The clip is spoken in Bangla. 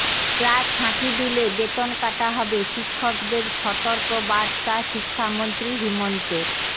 ক্লাস ফাঁকি দিলে বেতন কাটা হবে শিক্ষকদের সতর্ক বার্তা শিক্ষামন্ত্ৰী হিমন্তের